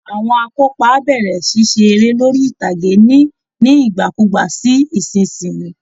Àwọn akópa á bẹ̀rẹ̀ ṣíṣe eré lórí ìtàgé ní nígbàkúùgbà sí ìsinsìnyí